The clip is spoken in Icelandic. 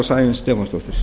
og sæunn stefánsdóttir